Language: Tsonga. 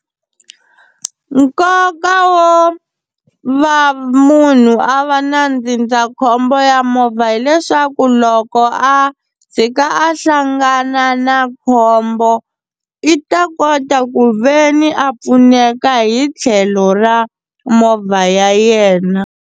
Nkoka wo va munhu a va na ndzindzakhombo ya movha hileswaku loko a tshika a hlangana na khombo i ta kota ku ve ni a pfuneka hi tlhelo ra movha ya yena.